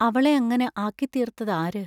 അവളെ അങ്ങനെ ആക്കിത്തീർത്തതാര്?